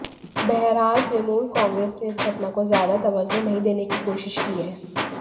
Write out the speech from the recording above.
बहरहाल तृणमूल कांग्रेस ने इस घटना को ज्यादा तवज्जो नहीं देने की कोशिश की है